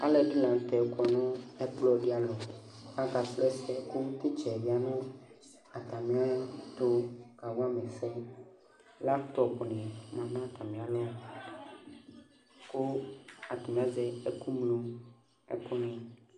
Alʋɛdɩnɩ la nʋ tɛ kɔ nʋ ɛkplɔ dɩ alɔ Aka srɔ ɛsɛ ,kʋ titsaɛ lɛ n'atamɩɛtʋ kawa ma ɛsɛ Lamtɔpʋ nɩ ma n'atamɩ alɔ kʋ ,atanɩ azɛ ɛkʋŋloɛkʋ nɩ